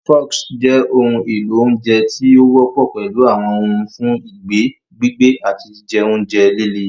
Forks jẹ́ ohun èlò oúnjẹ tí ó wọ́pọ̀ pẹ̀lú àwọn ohùn fún ìgbẹ́, gbígbé, àti jíjẹ oúnjẹ líle.